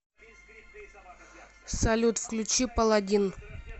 салют включи паладин